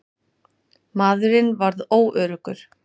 Maðurinn varð óöruggur.